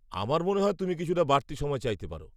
আমার মনে হয় তুমি কিছুটা বাড়তি সময় চাইতে পার।